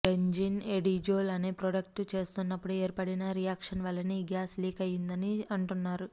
benzene ఎడిజోల్ అనే product చేస్తున్నప్పుడు ఏర్పడిన రియాక్షన్ వలనే ఈ గ్యాస్ లీక్ అయిందని అంటున్నారు